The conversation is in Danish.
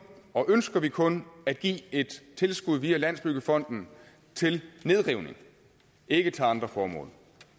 og ønsker vi kun at give et tilskud via landsbyggefonden til nedrivning ikke til andre formål